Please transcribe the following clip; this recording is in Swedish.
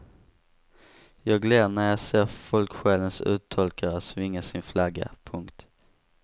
Jag ler när jag ser folksjälens uttolkare svinga sin flagga. punkt